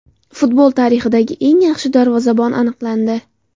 Futbol tarixidagi eng yaxshi darvozabon aniqlandi.